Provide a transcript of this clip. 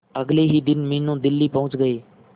अगले ही दिन मीनू दिल्ली पहुंच गए